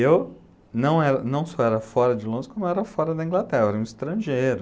Eu não era, não só era fora de Londres, como era fora da Inglaterra, eu era um estrangeiro.